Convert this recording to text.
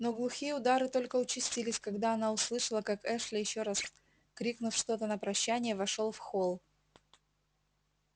но глухие удары только участились когда она услышала как эшли ещё раз крикнув что-то на прощание вошёл в холл